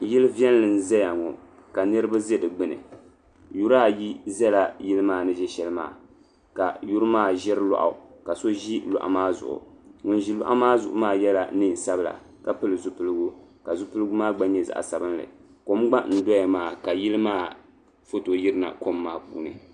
Yili viɛlli n zaya ŋɔ niriba zi di gbuni yuri ayi zala yili maa ni zi shɛli maa ka yuri maa ziri lɔɣu ka so zi lɔɣu maa zuɣu ŋuni zi lɔɣu maa zuɣu maa yiɛla nɛn sabila ka pili zupiligu ka zupiligu maa gba yɛ zaɣi sabinli kom gba n doya maa ka yili maa foto yiri na kom maa puuni.